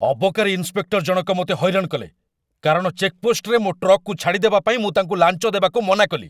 ଅବକାରୀ ଇନ୍ସପେକ୍ଟର ଜଣକ ମୋତେ ହଇରାଣ କଲେ, କାରଣ ଚେକପୋଷ୍ଟରେ ମୋ ଟ୍ରକକୁ ଛାଡ଼ିଦେବା ପାଇଁ ମୁଁ ତାଙ୍କୁ ଲାଞ୍ଚ ଦେବାକୁ ମନା କଲି।